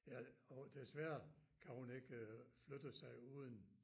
Ja og desværre kan hun ikke øh flytte sig uden